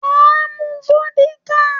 Mà á mu vódíkà.